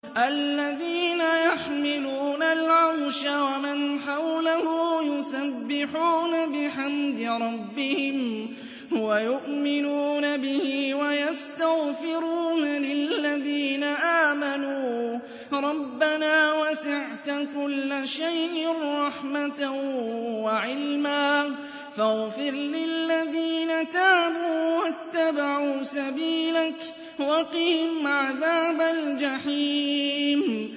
الَّذِينَ يَحْمِلُونَ الْعَرْشَ وَمَنْ حَوْلَهُ يُسَبِّحُونَ بِحَمْدِ رَبِّهِمْ وَيُؤْمِنُونَ بِهِ وَيَسْتَغْفِرُونَ لِلَّذِينَ آمَنُوا رَبَّنَا وَسِعْتَ كُلَّ شَيْءٍ رَّحْمَةً وَعِلْمًا فَاغْفِرْ لِلَّذِينَ تَابُوا وَاتَّبَعُوا سَبِيلَكَ وَقِهِمْ عَذَابَ الْجَحِيمِ